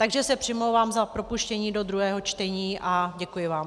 Takže se přimlouvám za propuštění do druhého čtení a děkuji vám.